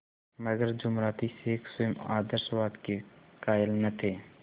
मगर जुमराती शेख स्वयं आशीर्वाद के कायल न थे